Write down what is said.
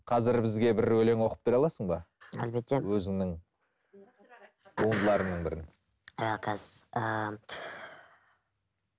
қазір бізге бір өлең оқып бере аласың ба әлбетте өзіңнің туындыларыңның бірін